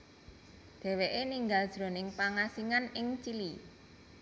Dhèwèké ninggal jroning pangasingan ing Chili